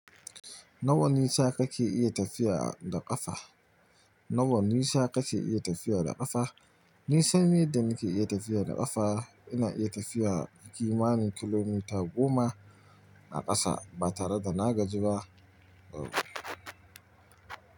Nawa nisa kake iya tafiya da ƙafa? Nawa nisa kake iya tafiya da ƙafa? Nisan yan da nake iya tafiya da ƙafa ina iya tafiya kimanin kilomita goma a ƙasa ba tare da na gaji ba.